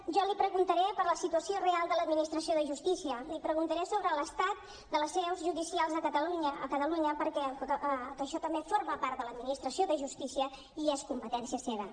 jo li preguntaré per la situació real de l’administració de justícia li preguntaré sobre l’estat de les seus judicials a catalunya perquè això també forma part de l’administració de justícia i és competència seva